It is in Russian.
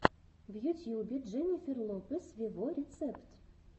в ютьюбе дженнифер лопес вево рецепт